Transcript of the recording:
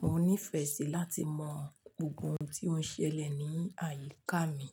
Mo nífẹẹ sí láti mọ̀ gbogbo ohun tí ó ń ṣẹlẹ̀ ní àyíká mi.